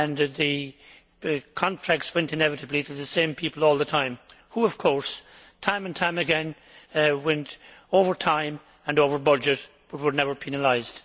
The contracts went inevitably to the same people all the time who, of course, time and time again, went over time and over budget but were never penalised.